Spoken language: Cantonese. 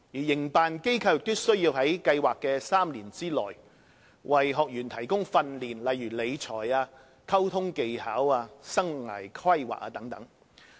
營辦機構亦須在計劃的3年內為學員提供訓練，例如理財、溝通技巧和生涯規劃。